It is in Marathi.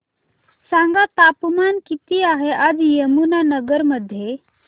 सांगा तापमान किती आहे आज यमुनानगर मध्ये